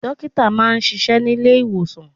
Dókítà máa ń ṣíṣe nílé ìwòsàn.